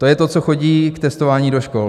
To je to, co chodí k testování do škol.